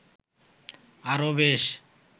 আরো বেশ